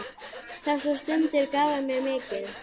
Þessar stundir gáfu mér mikið.